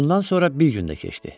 Bundan sonra bir gün də keçdi.